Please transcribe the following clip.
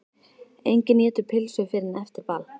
Enginn étur pylsur fyrr en eftir ball.